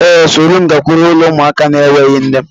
Ee, soro m gakwuru ụlo ụmụaka n'enweghi nne